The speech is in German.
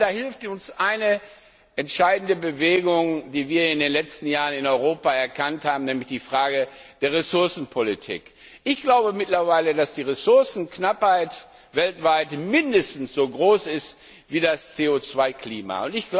Da hilft uns eine entscheidende Bewegung, die wir in den letzten Jahren in Europa erkannt haben, nämlich die Frage der Ressourcenpolitik. Ich glaube mittlerweile, dass die Ressourcenknappheit weltweit mindestens so groß ist wie das CO 2 Klima.